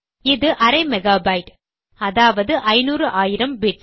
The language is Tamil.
இது அரை மெகாபைட்டு அதாவது ஐநூறு ஆயிரம் பிட்ஸ்